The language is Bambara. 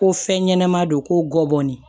Ko fɛn ɲɛnɛma don ko gɔni